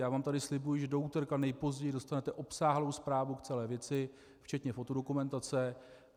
Já vám tady slibuji, že do úterka nejpozději dostanete obsáhlou zprávu k celé věci včetně fotodokumentace.